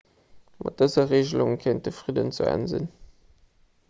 mat dëser regelung kéint de fridden zu enn sinn